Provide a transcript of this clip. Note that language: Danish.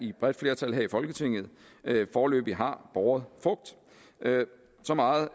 et bredt flertal her i folketinget foreløbig har båret så meget